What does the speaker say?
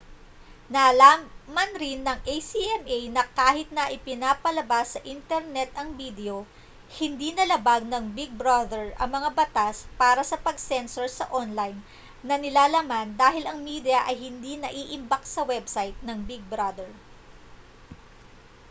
nalaman rin ng acma na kahit na ipinapalabas sa internet ang bidyo hindi nalabag ng big brother ang mga batas para sa pag-censor sa online na nilalaman dahil ang media ay hindi naiimbak sa website ng big brother